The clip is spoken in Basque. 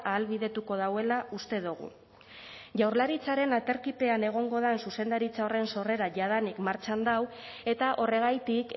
ahalbidetuko duela uste dugu jaurlaritzaren aterkipean egongo den zuzendaritza horren sorrera jadanik martxan dago eta horregatik